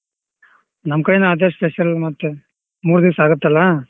ನಮ್ ಕಡೆ ಅದೆ special ಮತ್ತೆ ಮೂರ್ ದಿವ್ಸ ಆಗುತ್ತಲ್ಲ.